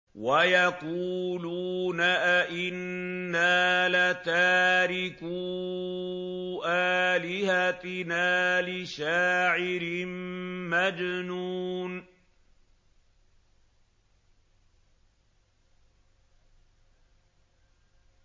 وَيَقُولُونَ أَئِنَّا لَتَارِكُو آلِهَتِنَا لِشَاعِرٍ مَّجْنُونٍ